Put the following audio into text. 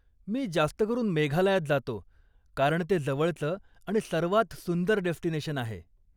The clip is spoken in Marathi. मी जास्त करून मेघालयात जातो, कारण ते जवळचं आणि सर्वात सुंदर डेस्टिनेशन आहे.